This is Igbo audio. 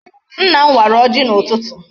Nna m wara ọjị n'ụtụtụ.